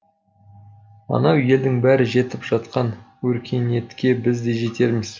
анау елдің бәрі жетіп жатқан өркениетке біз де жетерміз